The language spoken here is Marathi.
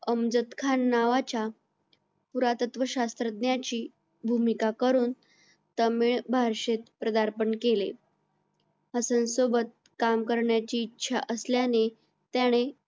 अमृत खान नावाच्या पुरातत्त्व शास्त्रज्ञाची भूमिका करून तामिळ भाषेत प्रदार्पण केले हसन सोबत काम करण्याची इच्छा असल्याने त्याने